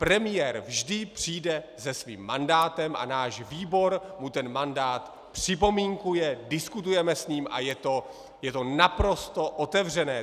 Premiér vždy přijde se svým mandátem a náš výbor mu ten mandát připomínkuje, diskutujeme s ním a je to naprosto otevřené.